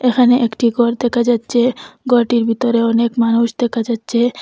এখানে একটি গর দেখা যাচ্চে গরটির ভিতরে অনেক মানুষ দেখা যাচ্চে ।